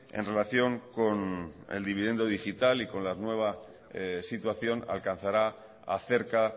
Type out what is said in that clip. en relación con el dividendo digital y con la nueva situación alcanzará a cerca